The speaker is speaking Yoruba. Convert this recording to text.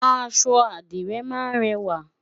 aṣọ adire má n rẹwa